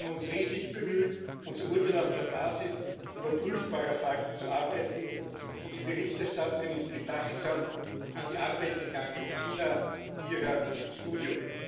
Wir haben uns redlich bemüht, unser Urteil auf der Basis überprüfbarer Fakten zu erarbeiten und die Berichterstatterin ist bedachtsam an die Arbeit gegangen, sine ira et studio